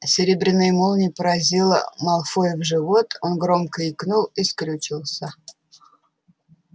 серебряная молния поразила малфоя в живот он громко икнул и скрючился